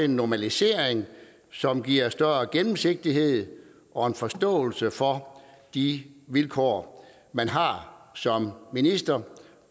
normalisering som giver større gennemsigtighed og forståelse for de vilkår man har som minister